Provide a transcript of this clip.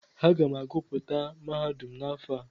Aga m agụpụta mahadum n'afọ a.